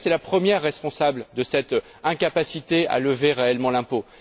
La Grèce est la première responsable de cette incapacité à lever réellement l'impôt.